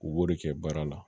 U b'o de kɛ baara la